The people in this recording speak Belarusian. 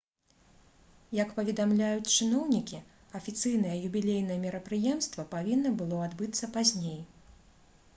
як паведамляюць чыноўнікі афіцыйнае юбілейнае мерапрыемства павінна было адбыцца пазней